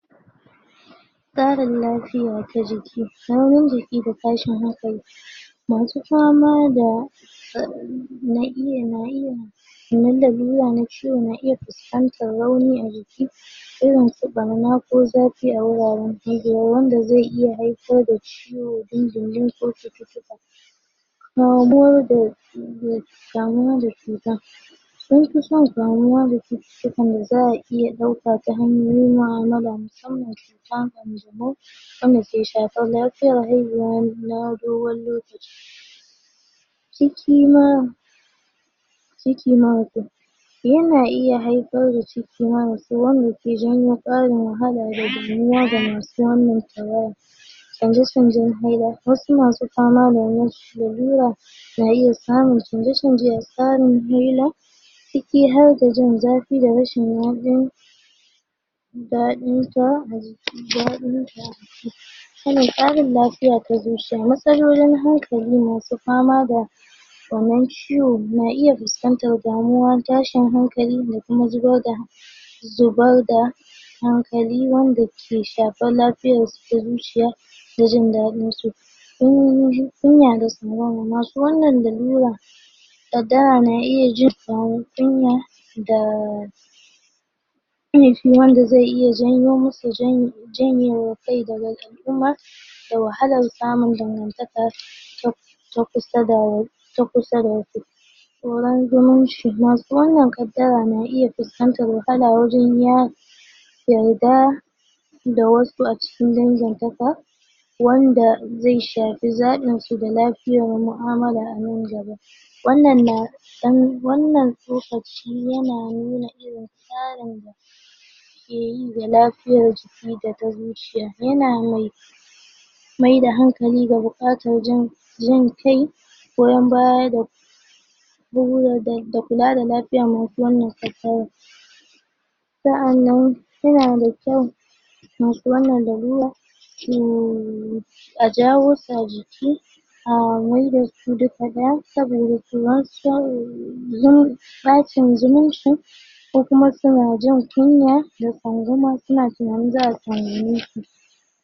tasrin lafiya ta jiki nauyin jiki da tashin hankali masu fama da sanan lalura na ciwo na iya fus kantar rauni ajiki irin su barna ko zafi a wuraren haihuwa wanda ze iya haifar da ciwo dindindin ko cututtuka na gurɗe damwa da cutan sunfi son damuwa da cu tan da za'a iya ɗauka ta hanyoyin mu'amala musamman tan ƙanjamau wanda ke shafar lafiyar haihuwa an dogon lokaci ciki ma ciki ma mutun yana iya janyo ciki mamasi wanda ke janyo ƙarin wahala da damuwa ga masu wannan tawaya canze canzen wasu masu fama lalura na iya samun canze canze ciki harda jinzafi da rashin daɗin sa ajiki daɗin sa suna ƙarin lafiya ta zuciya matsalolin hankali masu famada wanan ciwo na iya fuskantar damuwa tashin hankali da kuma zubarda zubarda hankali wanda ke shafa lafiyas da zuciya da jin ɗadin su su sun masu wannan darura a da ana iya jin kunya da da wahalar samun dangantakar ta kusa da takusa da tsoron zumunci masu wanan kaddara na iya fiskantar matsala wajan ya yauda da wasu acikin dangintaka wanda ze shafi zaɓin su da ,lafiya da mu'amala anan gaba wananan na ɗan wanan tsokaci yana nuna irin tsarin da keyi da lafiyar su ci daga zuciya yana mai maida hankali da bukatan jin jin kai goyon baya da bugu da da la lafiya kula da lafiyan masu wannan matsalan sa'anan suna da kyau masu wannan darura a jawo su ajiki a maida su duka nan saboda suma so samusu bacin zumunci ko kuma suna jin kunya da tsangwama su